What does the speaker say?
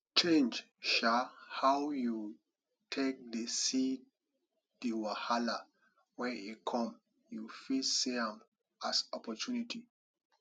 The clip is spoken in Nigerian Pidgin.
change um how you take dey see di wahala when e come you fit see am as opportunity